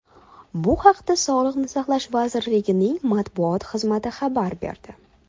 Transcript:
Bu haqda Sog‘liqni saqlash vazirligining matbuot xizmati xabar berdi .